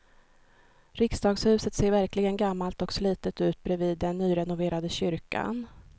Riksdagshuset ser verkligen gammalt och slitet ut bredvid den nyrenoverade kyrkan.